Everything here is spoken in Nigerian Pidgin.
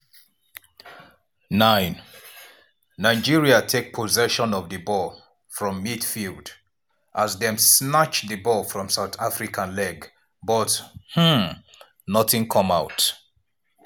9' nigeria take possession of di ball from midfield as dem snatch di ball from south africa leg but um nothing come out.